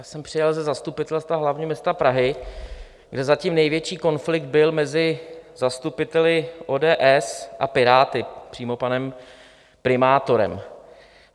Já jsem přijel ze zastupitelstva hlavního města Prahy, kde zatím největší konflikt byl mezi zastupiteli ODS a Piráty, přímo panem primátorem.